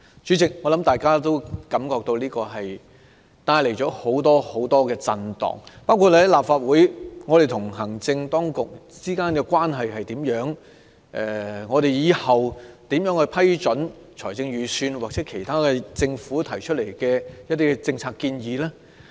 主席，我想大家亦感到此事帶來很多震盪，包括立法會與行政當局之間的關係，日後應如何批准財政預算案或政府提出的其他政策建議呢？